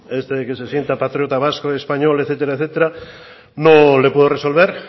eso de que se sienta patriota vasco y español etcétera etcétera no le puedo resolver